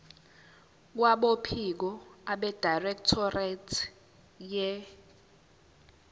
kwabophiko abedirectorate ye